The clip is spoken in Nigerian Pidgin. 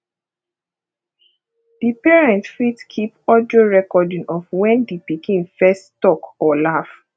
di parent fit keep audio recording of when di pikin first talk or laugh